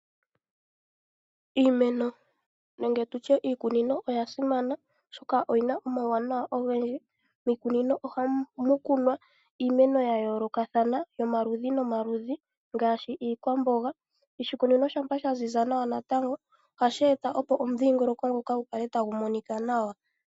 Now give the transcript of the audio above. Iimeno nenge tutye iikunino oyasimana oshoka oyina omawunawa ogendji. Miikunino ohamukunwa iimeno yayoolokathana, nomaludhi ngaashi iikwamboga. Oshikunino shampa shaziza nawa ohashi eta opo omudhingoloko ngoka gukale tagu monika nawa.